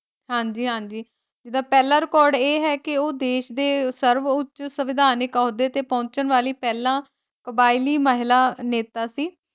ਹਾਂਜੀ-ਹਾਂਜੀ ਓਹਦਾ ਪਹਿਲਾ ਰਿਕਾਰਡ ਇਹ ਹੈ ਕੇ ਓਹ ਦੇਸ਼ ਦੇ ਸਰਬ ਉਚ ਸਵਿਦਾਨਿਕ ਅਹੁਦੇ ਤੇ ਪਹੁੰਚਣ ਵਾਲੀ ਪਹਿਲਾਂ ਕਬਾਇਲੀ ਮਹਿਲਾ ਨੇਤਾ ਸੀ।